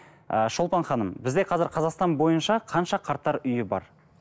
ы шолпан ханым бізде қазір қазақстан бойынша қанша қарттар үйі бар